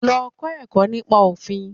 Lọ kọ́ ẹ̀kọ́ nípa Òfin.